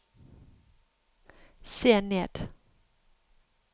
se ned